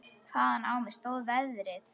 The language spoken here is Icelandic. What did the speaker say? Hvaðan á mig stóð veðrið.